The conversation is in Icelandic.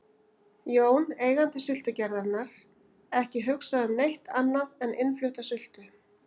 Jón, eigandi sultugerðarinnar, ekki hugsað um neitt annað en innflutta sultu.